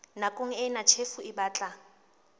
nakong ena tjhefo e batla